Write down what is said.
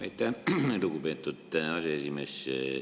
Aitäh, lugupeetud aseesimees!